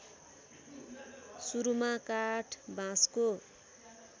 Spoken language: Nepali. सुरूमा काठ बाँसको